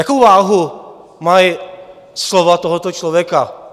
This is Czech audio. Jakou váhu mají slova tohoto člověka?